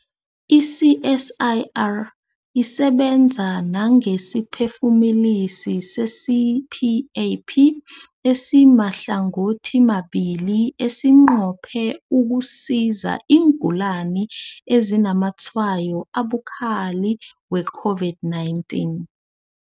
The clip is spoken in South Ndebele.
I-CSIR isebenza nangesiphefumulisi se-CPAP esimahlangothimabili esinqophe ukusiza iingulani ezinazamatshwayo abukhali we-COVID-19.